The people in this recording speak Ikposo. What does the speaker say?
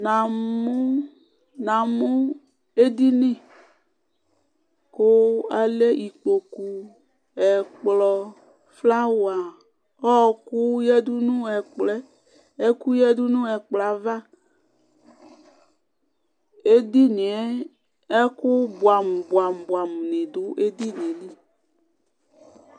Na mu na mu eɖɩnɩ ku alɛ ɩkpoku, ɛkplɔ, flawa, ɔku yaɖu nu ɛkplɔɛ Ɛku yaɖu nu ɛkplɔ ava Eɖɩnɩ yɛ ɛku buɛ amu buɛ amu buɛ amu nɩ ɖu eɖɩnɩ yɛ li